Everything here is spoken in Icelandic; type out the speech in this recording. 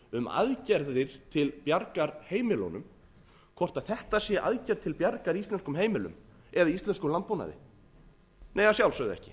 um aðgerðir til bjargar heimilunum hvort þetta sé aðgerð til bjargar íslenskum heimilum eða íslenskum landbúnaði nei að sjálfsögðu ekki